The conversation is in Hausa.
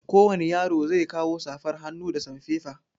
Kowani yaro zai kawo safar hannu da sanfefa.